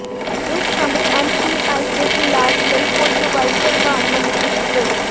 ਇਸ ਸਮੇਂ ਐਮਸੀਆਈ ਦੇ ਇਲਾਜ ਲਈ ਕੋਈ ਦਵਾਈ ਪ੍ਰਵਾਨ ਨਹੀਂ ਕੀਤੀ ਗਈ